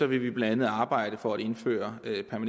vil vi blandt andet arbejde for at indføre